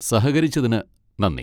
സഹകരിച്ചതിന് നന്ദി.